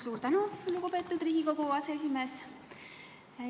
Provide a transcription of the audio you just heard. Suur tänu, lugupeetud Riigikogu aseesimees!